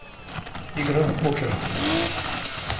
игра в покер